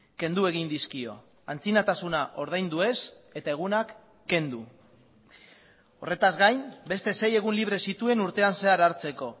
kendu egin dizkio antzinatasuna ordaindu ez eta egunak kendu horretaz gain beste sei egun libre zituen urtean zehar hartzeko